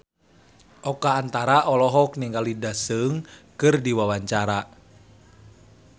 Oka Antara olohok ningali Daesung keur diwawancara